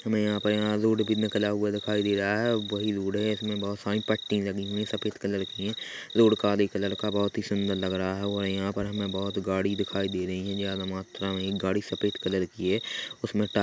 हमे यहाँ पर यहाँ रोड भी निकला हुआ दिखाई दे रहा है और वही रोड है इसमे बहुत सारी पट्टी लगी हुई है सफ़ेद कलर की है रोड काले कलर का बहुत ही सुन्दर लग रहा है और यहाँ पर हमे बहुत गाड़ी दिखाई दे रही है ज्यादा मात्रा में एक गाड़ी सफेद कलर की है उसमें टा--